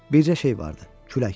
Bircə şey vardı: külək.